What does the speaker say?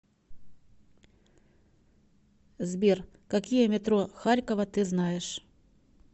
сбер какие метро харькова ты знаешь